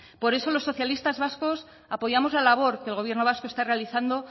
por eso los socialistas vascos apoyamos la labor que el gobierno vasco está realizando